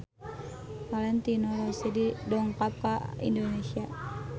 Valentino Rossi dongkap ka Indonesia